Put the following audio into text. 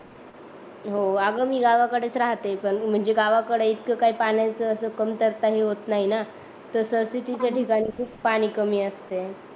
हो आग मी गावाकडेच राहते पण म्हणजे गावाकडे इतक काही पाण्याच कमतरता हे होत नाही न तस सिटीच्या ठिकाणी खूप पाणी कमी असते